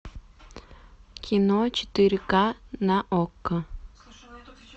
кино четыре ка на окко